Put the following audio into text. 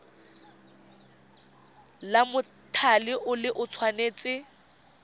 la mothale o le tshwanetse